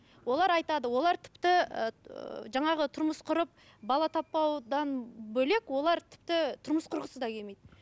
олар айтады олар тіпті ыыы жаңағы тұрмыс құрып бала таппаудан бөлек олар тіпті тұрмыс құрғысы да келмейді